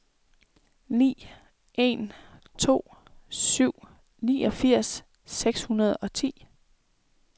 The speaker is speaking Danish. ni en to syv niogfirs seks hundrede og ti